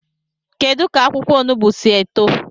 Kedu ka akwukwo onugbu si eto?